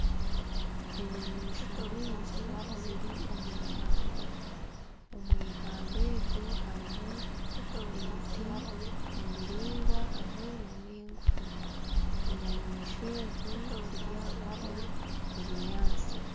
Enyamaishwa nyingi ziri omwihamba. Omwihamba eryo, harimu emiti emiringwa hamwe n'emigufu. Enyamaiswa ezo ziri ahakurya obunyaasti.